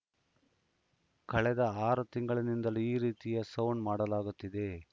ಕಳೆದ ಆರು ತಿಂಗಳನಿಂದಲೂ ಈ ರೀತಿಯ ಸೌಂಡ್‌ ಮಾಡಲಾಗುತ್ತಿದೆ